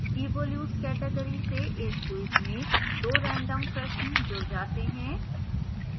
evolutes category से इस quiz में 2 random प्रश्न जुड़ जात हैं